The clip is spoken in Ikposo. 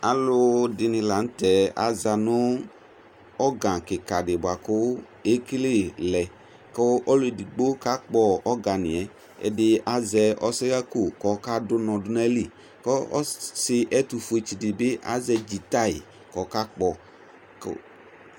Aalʋɛɖini lanutɛ aaza nʋ ɔrga kikadi bua kuu ekele lɛ kuu ɔlɔɛɖigbo kakpɔ ɔrganyɛƐɖi azɛ ɔsɛhako koka ɖʋ unɔ ɖu n'aili, ku ɔsi ɛtʋfue tsiɖi bi azɛ giŋta koka pɔ